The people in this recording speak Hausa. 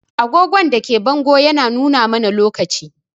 Agogon da ke bango yana nuna mana lokaci.